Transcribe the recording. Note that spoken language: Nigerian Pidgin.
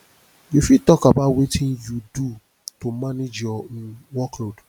you fit talk about wetin you do to manage your um workload